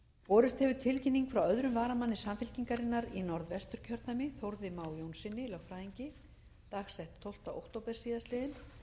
borist hefur tilkynning frá öðrum varamanni samfylkingarinnar í norðvesturkjördæmi þórði má jónssyni lögfræðingi dagsett tólfti október síðastliðinn